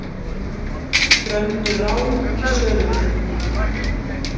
Frömdu rán í söluturni